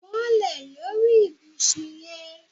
Bọ́lẹ̀ lórí ibùsùn yẹn